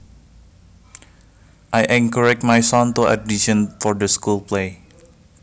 I encouraged my son to audition for the school play